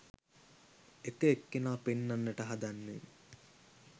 එක එක්කෙනා පෙන්නන්නට හදන්නේ